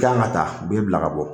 Kan ka taa u bɛ e bila ka bɔ